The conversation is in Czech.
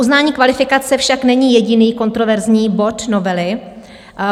Uznání kvalifikace však není jediný kontroverzní bod novely.